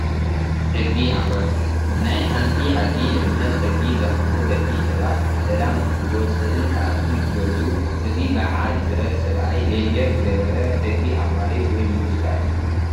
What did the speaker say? ሕጊ ኣኽበርቲ፡- ናይ ሓንቲ ዓዲ ልዕልነት ሕጊ ዘኽብሩ ደቂ ሰባት ብሰላም ክወፅእን ክኣቱን ዝገብሩ፡፡ እዚ ባዓል ብረት ሰብኣይ ሌንጀር ዝገበረ ሕጊ ኣኽባሪ ወይ ምልሻ እዩ፡፡